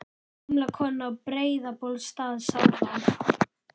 Gamla konan á Breiðabólsstað sá þá.